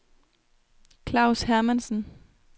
Klaus Hermansen